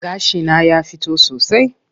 Gashi na ya fito sosai.